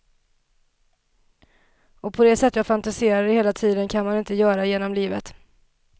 Och på det sätt jag fantiserade hela tiden kan man inte göra genom hela livet.